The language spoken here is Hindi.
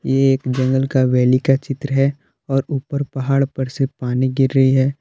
ये एक जंगल का वैली का चित्र है और ऊपर पहाड़ पर से पानी गिर रही है।